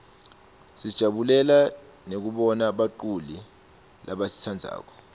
sijabulela nekubona baculi lesibatsandzako